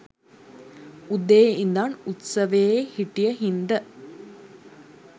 උදේ ඉඳන් උත්සවයේ හිටිය හින්ද